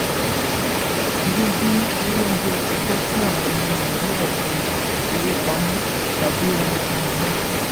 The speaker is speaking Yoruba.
dídín owó oúnjẹ kù jẹ́ kí àwọn ọmọ nàìjíríà fi owó pamọ́ tàbí ra nǹkan mìíràn.